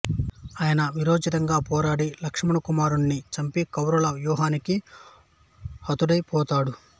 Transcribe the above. అయినా వీరోచితంగా పోరాడి లక్ష్మణకుమారుణ్ణి చంపి కౌరవుల వ్యూహానికి హతుడైపోతాడు